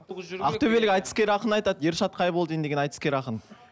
ақтөбелік айтыскер ақын айтады ершат қайболдин деген айтыскер ақын